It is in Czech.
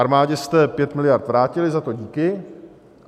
Armádě jste 5 miliard vrátili, za to díky.